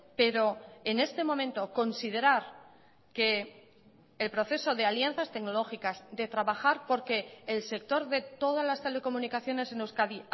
pero en este momento considerar que el proceso de alianzas tecnológicas de trabajar porque el sector de todas las telecomunicaciones en euskadi